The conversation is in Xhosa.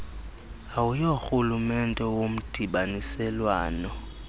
au yorhulumente womdibaniselwano